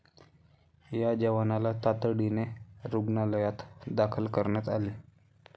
या जवानांना तातडीने रुग्णालयात दाखल करण्यात आले.